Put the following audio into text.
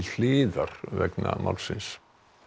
hliðar vegna málsins